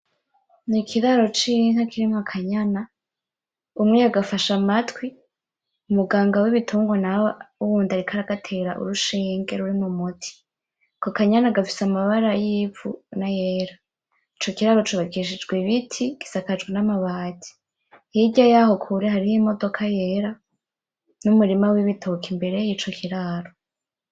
Ni ikiraro c'inka kirimwo akanyana , umwe yagafashe amatwi , umuganga w'ibitungwa nawe wundi ariko agatera urushinge rurimwo umuti , ako kanyana gafise amabara y'ivu n'ayera, ico kiraro cubakishijwe ibiti, gisakajwe n'amabati, hirya yaho kure hariho imodoka yera n'umurima w'ibitoke mbere yico kiraro.